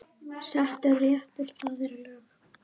Settur réttur, það er lög.